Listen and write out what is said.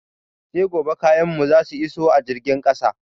Sai gobe kayan mu zasu iso a jirgin ƙasa.